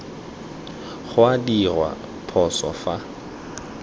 go a dirwa phoso fa